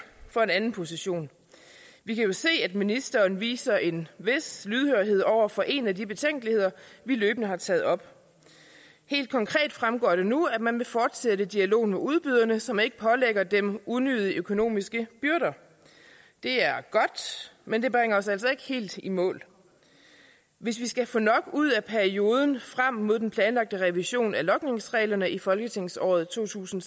for en anden position vi kan jo se at ministeren viser en vis lydhørhed over for en af de betænkeligheder vi løbende har taget op helt konkret fremgår det nu at man vil fortsætte dialogen med udbyderne så man ikke pålægger dem unødige økonomiske byrder det er godt men det bringer os altså ikke helt i mål hvis vi skal få nok ud af perioden frem mod den planlagte revision af logningsreglerne i folketingsåret to tusind